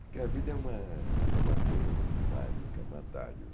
Porque a vida é uma é uma coisa muito mágica, uma dádiva.